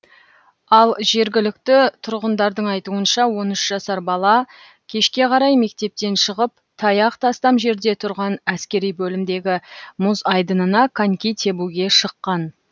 ал жергілікті тұрғындардың айтуынша он үш жасар бала кешке қарай мектептен шығып таяқ тастам жерде тұрған әскери бөлімдегі мұз айдынына коньки тебуге шыққан